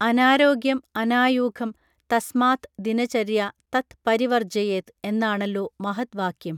അനാരോഗ്യം അനായൂഘം തസ്മാത് ദിനചര്യ തത് പരിവർജ്ജയേത് എന്നാണല്ലോ മഹദ് വാക്യം